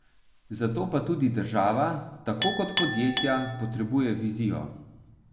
Zato pa tudi država, tako kot podjetja, potrebuje vizijo.